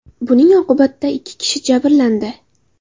Buning oqibatida ikki kishi jabrlandi.